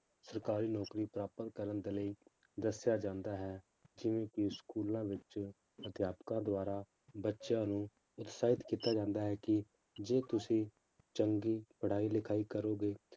ਸਰਕਾਰੀ ਨੌਕਰੀ ਪ੍ਰਾਪਤ ਕਰਨ ਦੇ ਲਈ ਦੱਸਿਆ ਜਾਂਦਾ ਹੈ, ਜਿਵੇਂ ਕਿ ਸਕੂਲਾਂ ਵਿੱਚ ਅਧਿਆਪਕਾਂ ਦੁਆਰਾ ਬੱਚਿਆਂ ਨੂੰ ਉਤਸ਼ਾਹਿਤ ਕੀਤਾ ਜਾਂਦਾ ਹੈ ਕਿ ਜੇ ਤੁਸੀਂ ਚੰਗੀ ਪੜ੍ਹਾਈ ਲਿਖਾਈ ਕਰੋਗੇ,